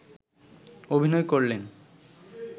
অভিনয় করলেন